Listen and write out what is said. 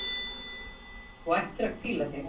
Þú ættir að hvíla þig.